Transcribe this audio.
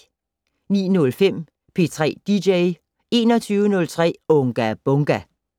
09:05: P3 dj 21:03: Unga Bunga!